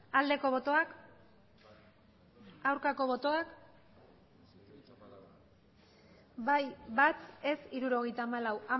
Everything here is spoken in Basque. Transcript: aldeko botoak aurkako botoak bai bat ez hirurogeita hamalau